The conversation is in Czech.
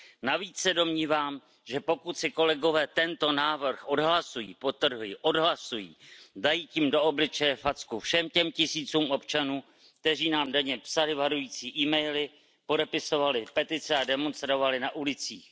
Navíc se domnívám, že pokud si kolegové tento návrh odhlasují, podtrhuji, odhlasují, dají tím do obličeje facku všem těm tisícům občanů, kteří nám denně psali varující emaily, podepisovali petice a demonstrovali na ulicích.